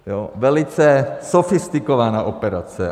Velice sofistikovaná operace.